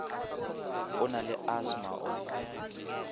o na le asthma o